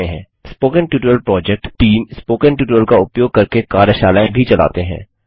spoken tutorial project team spoken tutorial का उपयोग करके कार्यशालाएँ भी चलाते हैं